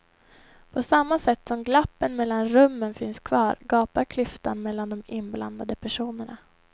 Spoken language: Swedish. På samma sätt som glappen mellan rummen finns kvar gapar klyftan mellan de inblandade personerna.